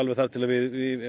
þar til við